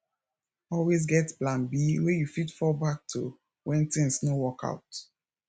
always get plan b wey you fit fall back to when things no work out